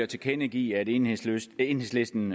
tilkendegive at enhedslisten enhedslisten